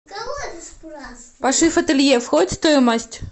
пошив ателье входит в стоимость